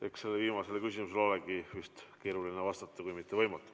Eks sellele viimasele küsimusele olegi keeruline vastata, kui mitte võimatu.